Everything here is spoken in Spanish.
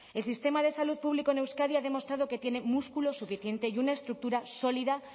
el sistema de salud pública en euskadi ha demostrado que tiene músculo suficiente y una estructura sólida